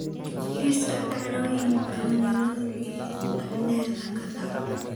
liiska dhacdo oyinka nairobi dahden kadaco